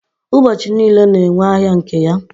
ụbọchi niile na-enwe ahịa nke ya